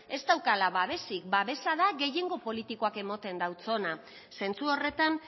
ez daukala babesik babesa da gehiengo politikoak ematen dautzona zentzu horretan